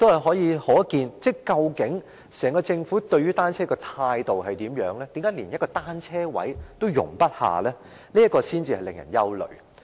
由此可見，整個政府對單車採取甚麼態度，何以竟然連一個單車車位也容不下，這點才令人憂慮。